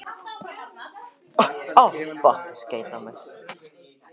Það lá við að við þyrftum að hlaupa.